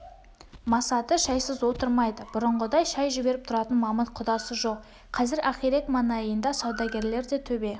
масаты шайсыз отырмайды бұрынғыдай шай жіберіп тұратын мамыт құдасы жоқ қазір ақирек маңайында сәудегерлер де төбе